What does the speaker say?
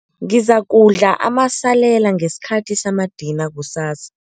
Ngizakudla amasalela ngesikhathi samadina kusasa.